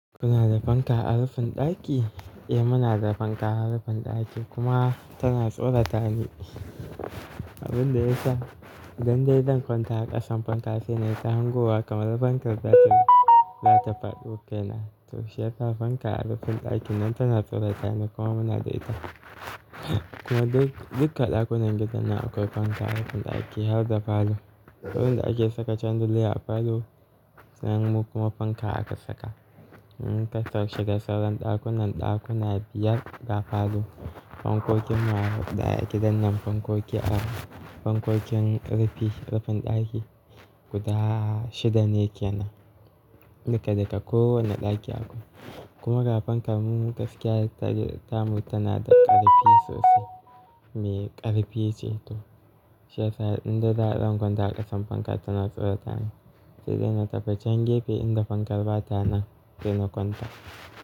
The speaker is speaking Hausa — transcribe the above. Kuna da fanka a rufin ɗaki? Eh muna da fanka a rufin ɗaki kuma tana tsorata ni. Abin da yasa idan dai zan kwanta a ƙasan fankar sai na yi ta hangowa kamar fankar za ta, za ta faɗo kaina. To shi yasa fanka a rufin ɗakin nan tana tsorata ni kuma muna da ita. Kuma duk, dukka ɗakunan gidan nan akwai fanka a rufin ɗakin har da falo. Saboda ake saka chandelier a falo sai mu kuma fanka aka saka. Kuma dashi da sauran ɗakunan ɗakuna biyar ga falo. Fankokin mu har huɗu a gidan nan fankoki a, fankokin rufi, rufin ɗaki guda shida ne kenan. Duka duka kowane ɗaki akwai. Kuma ga fankar mu gaskiya ta, tamu tana da ƙarfi sosai. Me ƙarfi ce to, shi yasa in dai zan kwanta a ƙasan fankar tana tsorata ni. Sai dai na tafi can gefe inda fankar ba ta nan sai na kwanta.